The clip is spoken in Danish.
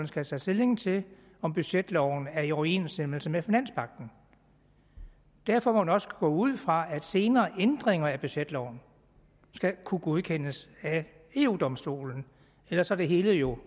skal tage stilling til om budgetloven er i overensstemmelse med finanspagten derfor må man også gå ud fra at senere ændringer af budgetloven skal kunne godkendes af eu domstolen ellers er det hele jo